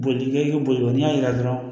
Boli kɛ i ka boli n'i y'a yira dɔrɔn